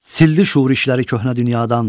Sildi şuur işləri köhnə dünyadan.